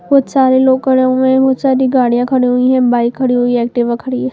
बहुत सारे लोग खड़े हुए हैं बहुत सारी गाड़ियाँ खड़ी हुई हैं बाइक खड़ी हुई है एक्टिवा खड़ी है।